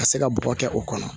Ka se ka bɔ kɛ o kɔnɔ